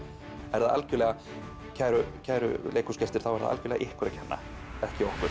er það algjörlega kæru kæru leikhúsgestir þá er það algjörlega ykkur að kenna ekki okkur